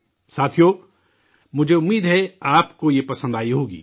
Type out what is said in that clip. ساتھیو، مجھے امید ہے، آپ کو یہ پسند آئی ہوگی